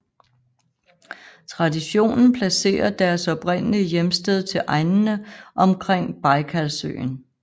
Traditionen placerer deres oprindelige hjemsted til egnene omkring Bajkalsøen